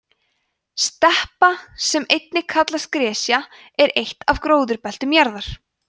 steppa sem einnig kallast gresja er eitt af gróðurbeltum jarðar